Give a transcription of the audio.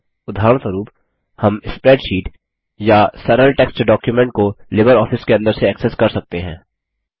उदाहरणस्वरुप हम स्प्रैडशीट या सरल टेक्स्ट डॉक्युमेंट को लिबरऑफिस के अंदर से एक्सेस कर सकते हैं